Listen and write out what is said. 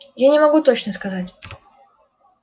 я не могу точно сказать